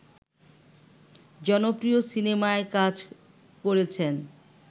জনপ্রিয় সিনেমায় কাজ করেছেন